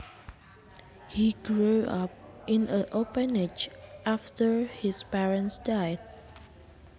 He grew up in an orphanage after his parents died